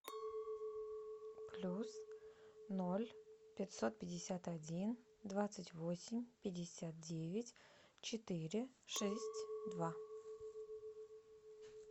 плюс ноль пятьсот пятьдесят один двадцать восемь пятьдесят девять четыре шесть два